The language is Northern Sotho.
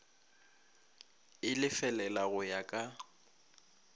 e lefelela go ya ka